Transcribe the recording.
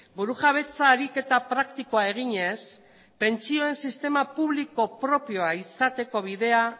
burujabetza ariketa praktikoa eginez pentsioen sistema publiko propioa izateko bidea